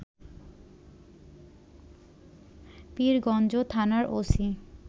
পীরগঞ্জ থানার ওসি